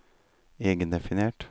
egendefinert